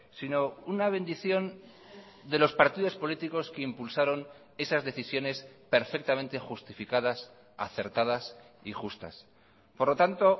sino una bendición de los partidos políticos que impulsaron esas decisiones perfectamente justificadas acertadas y justas por lo tanto